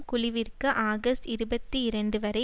குழுவிற்கு ஆகஸ்ட் இருபத்தி இரண்டு வரை